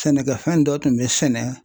Sɛnɛkɛfɛn dɔ tun bɛ sɛnɛ